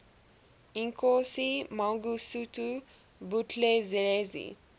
inkosi mangosuthu buthelezi